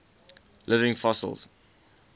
living fossils